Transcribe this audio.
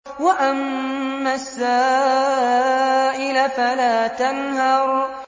وَأَمَّا السَّائِلَ فَلَا تَنْهَرْ